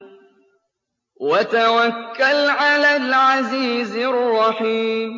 وَتَوَكَّلْ عَلَى الْعَزِيزِ الرَّحِيمِ